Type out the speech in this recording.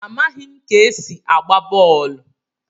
Amaghim ka esi agba bọọlụ.